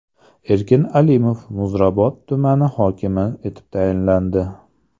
Erkin Alimov Muzrabot tumani hokimi etib tayinlandi.